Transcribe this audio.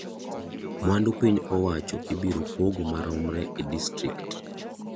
Mwandu piny owacho ibiro pogo maromre e disrtikt.